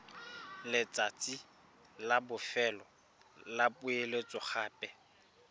letsatsi la bofelo la poeletsogape